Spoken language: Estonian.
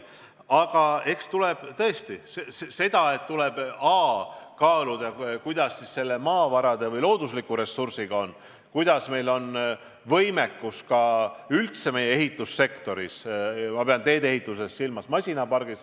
Aga eks tõesti tuleb esiteks kaaluda, kuidas meil maavarade või loodusliku ressursiga lood on ning milline on meie võimekus ehitussektoris – ma pean tee-ehituse puhul silmas masinaparki.